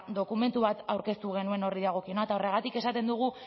dokumentu bat aurkeztu genuen horri dagokiona eta horregatik esaten dugu